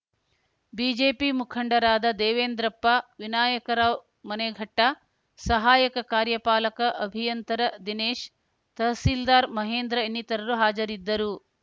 BJP ಮುಖಂಡರಾದ ದೇವೇಂದ್ರಪ್ಪ ವಿನಾಯಕರಾವ್‌ ಮನೆಘಟ್ಟ ಸಹಾಯಕ ಕಾರ್ಯಪಾಲಕ ಅಭಿಯಂತರ ದಿನೇಶ್‌ ತಹಸೀಲ್ದಾರ್‌ ಮಹೇಂದ್ರ ಇನ್ನಿತರರು ಹಾಜರಿದ್ದರು